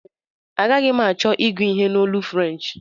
Agaghi m achọ ịgụ ihe a n'olu French